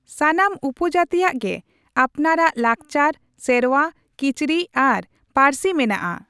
ᱥᱟᱱᱟᱢ ᱩᱯᱚᱡᱟᱹᱛᱤᱭᱟᱜ ᱜᱮ ᱟᱯᱱᱟᱨ ᱟᱜ ᱞᱟᱠᱪᱟᱨ, ᱥᱮᱨᱣᱟ, ᱠᱤᱪᱨᱤᱡ ᱟᱨ ᱯᱟᱹᱨᱥᱤ ᱢᱮᱱᱟᱜᱼᱟ ᱾